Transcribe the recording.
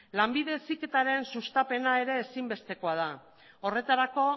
lanbide heziketaren sustapena ere ezinbestekoa da horretarako